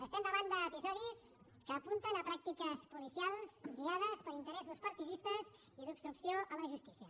estem davant d’episodis que apunten a pràctiques policials guiades per interessos partidistes i d’obstrucció a la justícia